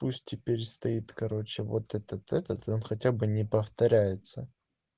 пусть теперь стоит короче вот этот этот он хотя бы не повторяется